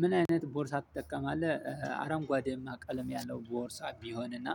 ምን አይነት ቦርሳ ትጠቀማለህ አረንጓዴማ ቀለም ያለው ቦርሳ ቢሆን እና